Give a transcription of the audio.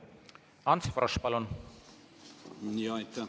Ants Frosch, palun!